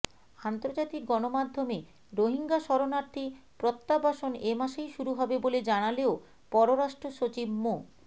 আন্তর্জাতিক গণমাধ্যমে রোহিঙ্গা শরণার্থী প্রত্যাবাসন এ মাসেই শুরু হবে বলে জানালেও পররাষ্ট্রসচিব মো